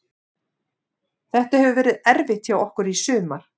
Þetta hefur verið erfitt hjá okkur í sumar.